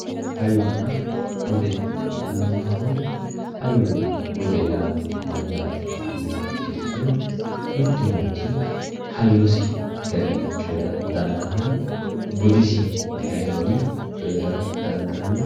Hayyonna bude yaamantanno, hayyonna bude mayate yinniha ikkiro mitu manchi hayyosi garinni coyra dandaano budisi garinni coyrara dandaano.